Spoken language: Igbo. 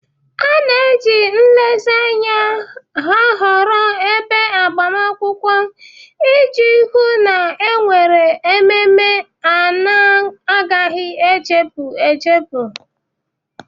A na-eji nlezianya ahọrọ ebe agbamakwụkwọ iji hụ na e nwere ememe na-agaghị echefu echefu.